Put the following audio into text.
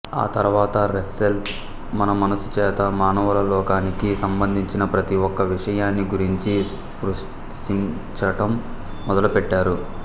ఆతర్వాత రస్సెల్ తన మనస్సుచేత మానవలోకానికి సంబంధించిన ప్రతి ఒక్క విషయాన్ని గురుంచి స్పృశించటం మొదలుపెట్టారు